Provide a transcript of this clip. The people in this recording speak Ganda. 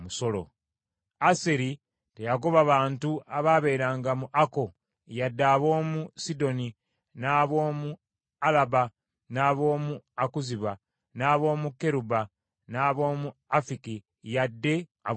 Aseri teyagoba bantu abaabeeranga mu Akko yadde ab’omu Sidoni n’ab’omu Alaba n’ab’omu Akuzibu n’ab’omu Keruba n’ab’omu Afiki yadde ab’omu Lekobu,